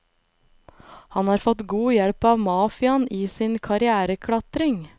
Han har fått god hjelp av mafiaen i sin karriereklatring.